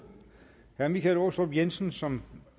herre michael aastrup jensen som